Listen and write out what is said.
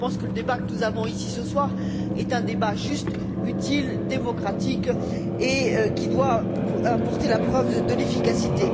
Je pense donc que le débat que nous tenons ce soir est un débat juste, utile, démocratique et qui doit apporter la preuve de l'efficacité.